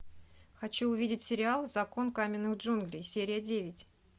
хочу увидеть сериал закон каменных джунглей серия девять